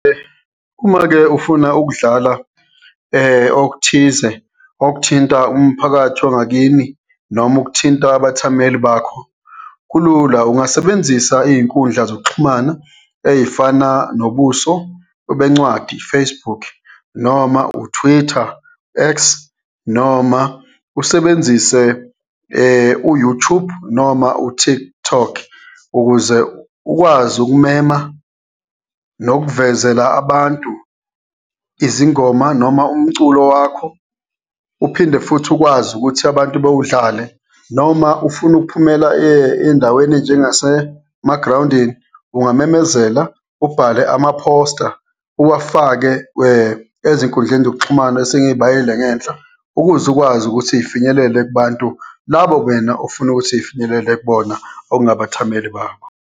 Uma-ke ufuna ukudlala okuthize okuthinta umphakathi wangakini noma okuthinta abathameli bakho kulula, ungasebenzisa iy'nkundla zokuxhumana ey'fana nobuso bencwadi, Facebook noma u-Twitter, X noma usebenzise u-YouTube noma u-TikTok ukuze ukwazi ukumema nokuvezela abantu izingoma noma umculo wakho uphinde futhi ukwazi ukuthi abantu bewudlale. Noma ufuna ukuphumela ey'ndaweni ey'njengasemagrawundini ungamemezela, ubhale amaphosta, uwafake ezinkundleni zokuxhumana esengiyibalile ngenhla, ukuze ukwazi ukuthi zifinyelele kubantu labo wena ofuna ukuthi ifinyelele kubona, okungabathameli bakho.